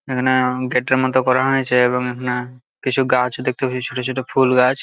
এখানে-এ গেট -এর মধ্যে করা হয়েছে এবং এখানে কিছু গাছ দেখতে পেয়েছি ছোট ছোট ফুল গাছ।